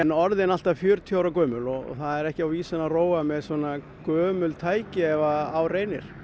orðin allt að fjörutíu ára gömul og það er ekki á vísan að róa með svona gömul tæki ef á reynir